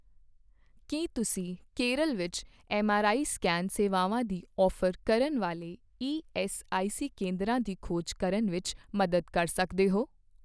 ਕੀ ਤੁਸੀਂ ਕੇਰਲ ਵਿੱਚ MRI scan ਸੇਵਾਵਾਂ ਦੀ ਔਫ਼ਰ ਕਰਨ ਵਾਲੇ ਈਐੱਸਆਈਸੀ ਕੇਂਦਰਾਂ ਦੀ ਖੋਜ ਕਰਨ ਵਿੱਚ ਮਦਦ ਕਰ ਸਕਦੇ ਹੋ